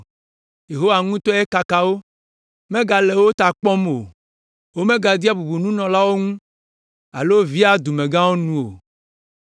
Yehowa ŋutɔe kaka wo, megale wo ta kpɔm o. Womegadea bubu nunɔlawo ŋu alo vea dumegãwo nu o.